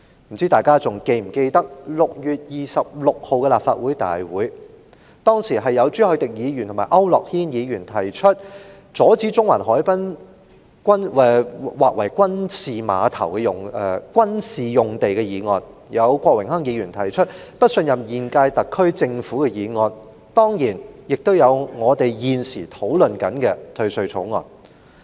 不知道大家是否還記得，在6月26日的立法會大會上，當時朱凱廸議員和區諾軒議員提出阻止中環海濱劃為軍事用地的議案，郭榮鏗議員又提出"不信任第五屆香港特別行政區政府"議案，當然亦有我們現時正在討論的《2019年稅務條例草案》。